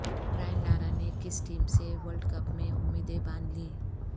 Brian Lara نے کس team سے ورلڈ کپ میں امیدیں باندھ لیں